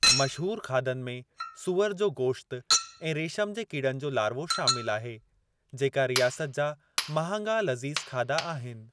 मशहूरु खाधनि में सूअरु जो गोश्तु ऐं रेशम जे कीड़नि जो लार्वो शामिल आहे, जेका रियासत जा महांगा लज़ीज़ खाधा आहिनि।